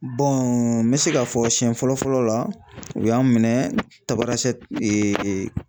n mi se ka fɔ siyɛn fɔlɔ fɔlɔ la, u y'an minɛ Tabarasɛti